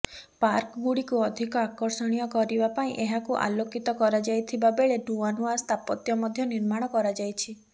ପାର୍କଗୁଡ଼ିକୁ ଅଧିକ ଆକର୍ଷଣୀୟ କରିବା ପାଇଁ ଏହାକୁ ଆଲୋକିତ କରାଯାଇଥିବାବେଳେ ନୂଆ ନୂଆ ସ୍ଥାପତ୍ୟ ମଧ୍ୟ ନିର୍ମାଣ କରାଯାଇଛି